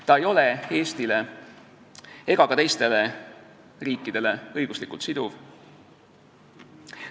Ta ei ole Eestile ega teistele riikidele õiguslikult siduv.